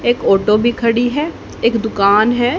एक ऑटो भी खड़ी है एक दुकान है।